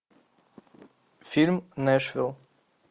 фильм нэшвилл